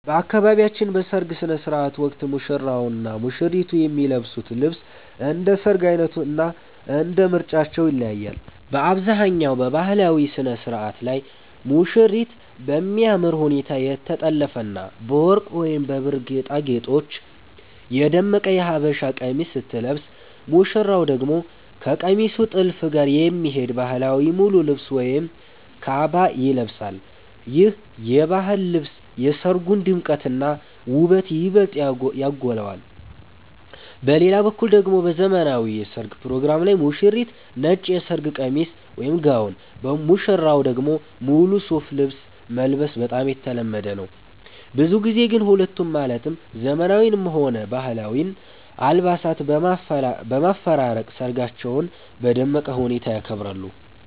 በአካባቢያችን በሰርግ ሥነ ሥርዓት ወቅት ሙሽራውና ሙሽሪት የሚለብሱት ልብስ እንደ ሰርጉ ዓይነትና እንደ ምርጫቸው ይለያያል። በአብዛኛው በባህላዊው ሥነ ሥርዓት ላይ ሙሽሪት በሚያምር ሁኔታ የተጠለፈና በወርቅ ወይም በብር ጌጣጌጦች የደመቀ የሀበሻ ቀሚስ ስትለብስ፣ ሙሽራው ደግሞ ከቀሚሱ ጥልፍ ጋር የሚሄድ ባህላዊ ሙሉ ልብስ ወይም ካባ ይለብሳል። ይህ የባህል ልብስ የሰርጉን ድምቀትና ውበት ይበልጥ ያጎላዋል። በሌላ በኩል ደግሞ በዘመናዊው የሠርግ ፕሮግራም ላይ ሙሽሪት ነጭ የሰርግ ቀሚስ (ጋውን)፣ ሙሽራው ደግሞ ሙሉ ሱፍ ልብስ መልበስ በጣም የተለመደ ነው። ብዙ ጊዜ ግን ሁለቱንም ማለትም ዘመናዊውንም ሆነ ባህላዊውን አልባሳት በማፈራረቅ ሰርጋቸውን በደመቀ ሁኔታ ያከብራሉ።